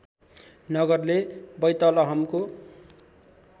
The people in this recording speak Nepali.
नगरले बैतलहमको